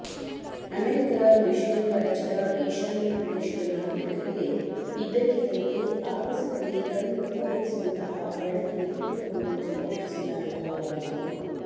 ಅಮೆರಿಕದ ಮಿಶಿಗನ್ ರಾಜ್ಯದ ಈಶಾನ್ಯ ಪ್ರದೇಶದ ನಾಗರಿಕರಿಗೆ ಇದ್ದಕ್ಕಿದ್ದಂತೆ ಆಗಸದಲ್ಲಿ ಕಣ್ಣು ಕೋರೈಸುವಂತಹ ಬೆಳಕಿನ ಪುಂಜವೊಂದು ಸ್ಫೋಟಿಸಿದ ಅನುಭವವಾಯಿತು